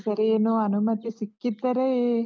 ಈ ಸರಿ ಏನೋ ಅನುಮತಿ ಸಿಕ್ಕಿದ್ದರೆ.